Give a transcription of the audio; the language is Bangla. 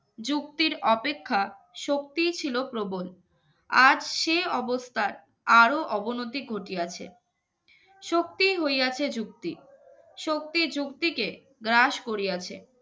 যুক্তির অপেক্ষা শক্তি ছিল প্রবল আজ সে অবস্থায় আরো অবনতি গতি আছে শক্তি হইয়াছে যুক্তি শক্তি যুক্তিকে গ্রাস করিয়াছে